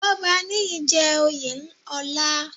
Gbọ́baníyì jẹ́ oyè ọlá.